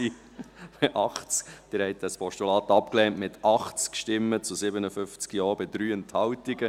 Sie haben das Postulat abgelehnt, mit 80 Stimmen zu 57 Ja bei 3 Enthaltungen.